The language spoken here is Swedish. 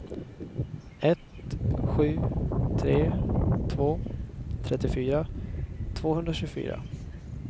ett sju tre två trettiofyra tvåhundratjugofyra